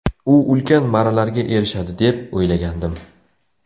U ulkan marralarga erishadi deb o‘ylagandim.